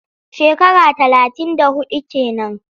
Shekara talatin da huɗu ke nan.